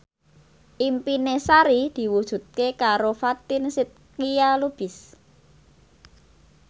impine Sari diwujudke karo Fatin Shidqia Lubis